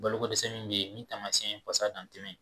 Bolo ko dɛsɛ min be ye min tamasiyɛn